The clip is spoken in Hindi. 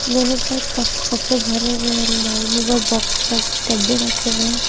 दोनों साइड काफी कपड़े भरे हुए हैं अलमारी में व बॉक्स लगे डब्बे रखे हुए हैं।